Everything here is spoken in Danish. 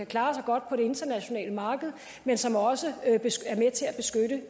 klare sig godt på det internationale marked men som også